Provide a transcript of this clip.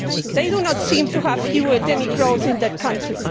They do not seem to have fuelled any growth in that country.